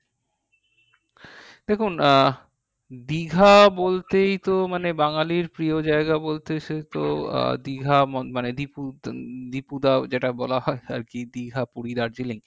দেখুন আহ দীঘা বলতেই তো মানে বাঙালীর প্রিয় জায়গা বলতে সে তো আহ দীঘা মানে দীপু দীপুদা যেইটা বলা হয় আর কি দীঘা, পুরি, দার্জিলিং